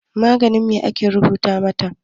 Maganin me aka rubuta mata?